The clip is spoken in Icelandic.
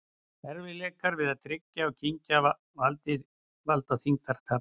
Erfiðleikar við að tyggja og kyngja valda þyngdartapi.